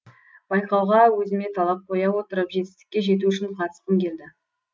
байқауға өзіме талап қоя отырып жетістікке жету үшін қатысқым келді